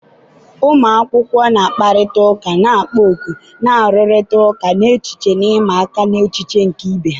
ụmụ akwụkwọ na-akparịta ụka na-ekpo ọkụ, na-arụrịta ụka n'echiche na ịma aka n'echiche nke ibe ha.